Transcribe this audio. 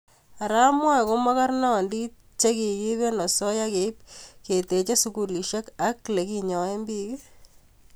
are amwae ko makarnandit chekikiip eng osoya keip ketechesukulisiek ak lekinyae pik